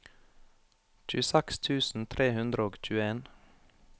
tjueseks tusen tre hundre og tjueen